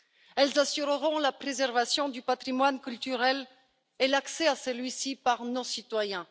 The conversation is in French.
Elles assureront la préservation du patrimoine culturel et l'accès à celui ci par nos citoyens.